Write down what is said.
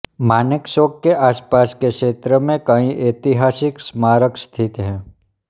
मानेक चौक के आसपास के क्षेत्र में कई ऐतिहासिक स्मारक स्थित हैं